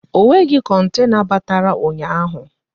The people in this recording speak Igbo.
Ọ nweghị kontena batara ụnyaahụ